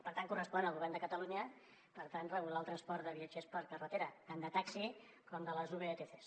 per tant correspon al govern de catalunya regular el transport de viatgers per carretera tant de taxi com de les vtcs